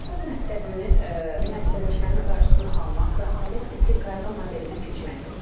Əsas məqsədimiz müəssisləşmənin qarşısını almaq və ailə tipli qayğı modelinə keçməkdir.